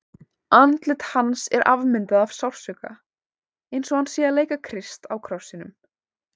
Andlit hans er afmyndað af sársauka, eins og hann sé að leika Krist á krossinum.